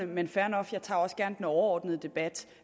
men fair nok jeg tager også gerne den overordnede debat